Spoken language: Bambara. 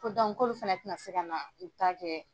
Ko k'olu fana tɛna se ka n'u ta kɛ.